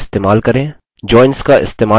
joins का इस्तेमाल कैसे करें